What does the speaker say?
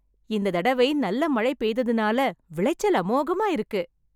இந்த தடவை நல்ல மழை பெய்ததுனால விளைச்சல் அமோகமா இருக்கு